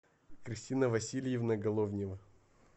кристина васильевна головнева